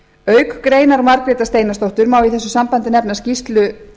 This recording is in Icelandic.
auk greinar margrétar steinarsdóttur má í þessu sambandi nefna skýrslur